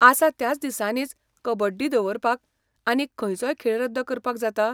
आसा त्या दिसांनीच कबड्डी दवरपाक आनीक खंयचोय खेळ रद्द करपाक जाता?